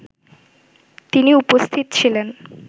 তিনি উপস্থিত ছিলেন